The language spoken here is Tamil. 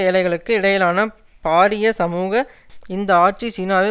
ஏழைக்களுக்கு இடையிலான பாரிய சமூக இந்த ஆட்சி சீனாவை